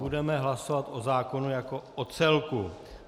Budeme hlasovat o zákona jako o celku.